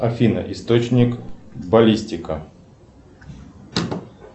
афина источник баллистика